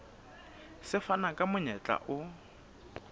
se fana ka monyetla o